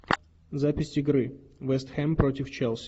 запись игры вест хэм против челси